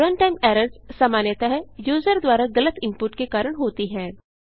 runtime errors सामान्यतः user द्वारा गलत इनपुट के कारण होती हैं